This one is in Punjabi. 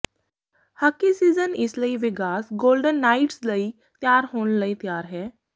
ਹਾਕੀ ਸੀਜ਼ਨ ਇਸ ਲਈ ਵੇਗਾਸ ਗੋਲਡਨ ਨਾਈਟਜ਼ ਲਈ ਤਿਆਰ ਹੋਣ ਲਈ ਤਿਆਰ ਹੈ